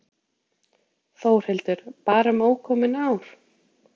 Þórhildur: Bara um ókomin ár?